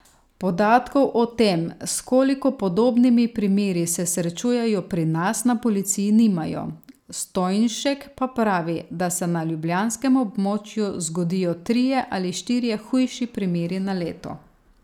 Podatkov o tem, s koliko podobnimi primeri se srečujejo pri nas, na policiji nimajo, Stojnšek pa pravi, da se na ljubljanskem območju zgodijo trije ali štirje hujši primeri na leto.